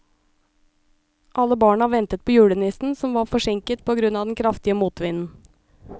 Alle barna ventet på julenissen, som var forsinket på grunn av den kraftige motvinden.